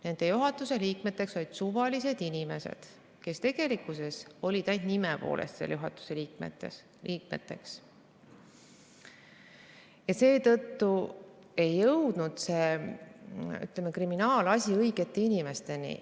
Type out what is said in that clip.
Nende juhatuse liikmeteks olid suvalised inimesed, kes tegelikkuses olid ainult nime poolest seal juhatuse liikmeteks, ja seetõttu ei jõudnudki see kriminaalasi õigete inimesteni.